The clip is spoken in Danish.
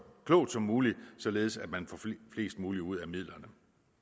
klogt som muligt således at man får mest muligt ud af midlerne